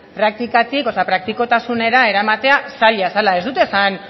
praktikatik o sea praktikotasunera eramate zaila zela ez dut esan